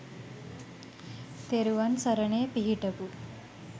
තෙරුවන් සරණේ පිහිටපු.